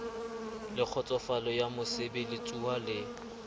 le kgotsofalo ya mosebeletsuwa le